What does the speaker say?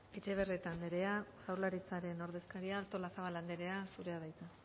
etxebarrieta andrea jaurlaritzaren ordezkaria artolazabal andrea zurea da hitza